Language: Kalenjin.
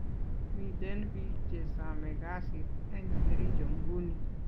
Miten pik che same kasit en kericho nguni